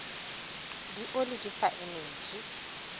le oli di fa energy